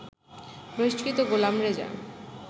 বহিষ্কৃত গোলাম রেজা